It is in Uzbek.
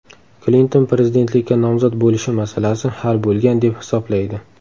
Klinton prezidentlikka nomzod bo‘lishi masalasi hal bo‘lgan deb hisoblaydi.